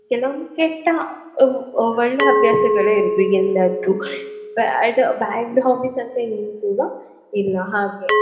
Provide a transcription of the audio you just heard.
ಕೆಲವೊಂದು ಕೆಟ್ಟ ಒ~ ಒ~ ಒಳ್ಳೆ ಹವ್ಯಾಸಗಳೇ ಇರುದು ಈಗ ಎಲ್ಲ ಅದ್ದು bad bad hobbies ಅಂತ ಏನು ಕೂಡ ಇಲ್ಲ ಹಾಗೆ.